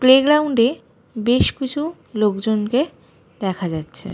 Play গ্রাউন্ডে বেশ কিছু লোক জনকে দেখা যাচ্ছে।